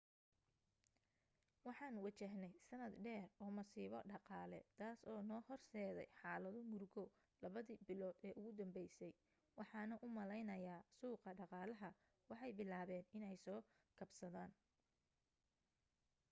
waxaan wajahney sanad dheer oo masiibo dhaqaale taas oo noo horseday xaalado murugo labadi bilood ee ugu dambeysay waxaana u maleynayaa suuqa dhaqaalaha waxay bilaaben iney soo kabsadaan